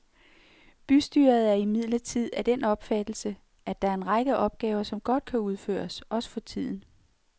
Bystyret er imidlertid af den opfattelse, at der er en række opgaver, som godt kan udføres, også for tiden.